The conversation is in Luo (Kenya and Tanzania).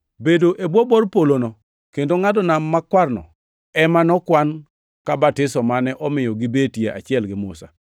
Bedo e bwo bor polono kendo ngʼado nam makwarno ema nokwan ka batiso mane omiyo gibetie achiel gi Musa.